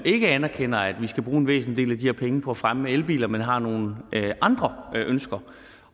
ikke anerkender at vi skal bruge en væsentlig del her penge på at fremme elbiler for man har nogle andre ønsker